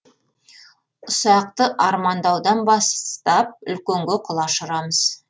ұсақты армандаудан бастап үлкенге құлаш ұрамыз